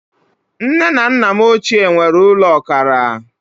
Nne na nna m ochie nwere ụlọ ọkara